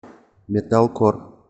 металкор